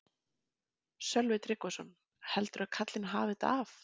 Sölvi Tryggvason: Heldurðu að karlinn hafi þetta af?